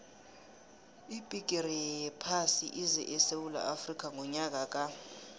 ibhigiri yephasi ize esewula afrika ngonyaka ka